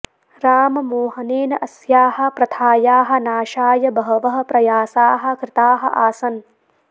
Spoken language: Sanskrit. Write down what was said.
राममोहनेन अस्याः प्रथायाः नाशाय बहवः प्रयासाः कृताः आसन्